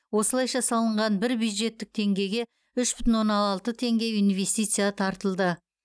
осылайша салынған бір бюджеттік теңгеге үш бүтін оннан алты теңге инвестиция тартылды